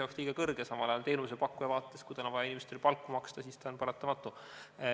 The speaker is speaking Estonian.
Inimesele liiga kõrge, samal ajal teenusepakkuja vaates, kui tal on vaja inimestele palka maksta, on see paratamatu.